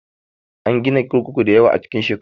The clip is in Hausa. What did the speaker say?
An gina kurkuku dayawa a cikin shekaru